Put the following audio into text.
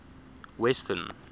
western